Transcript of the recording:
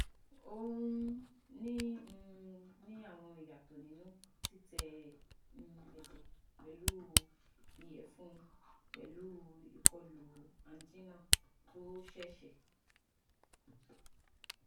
O n um ni um ni awọn iyatọ ninu titẹ um ẹjẹ pẹlu iyẹfun pẹlu ikolu angina to ṣẹṣẹ